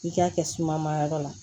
I k'a kɛ suma ma yɔrɔ la